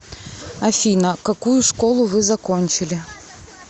афина какую школу вы закончили